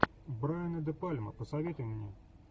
брайана де пальма посоветуй мне